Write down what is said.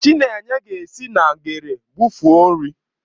Chinenye ga-esi na ngere bụfee nri.